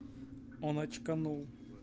он очканул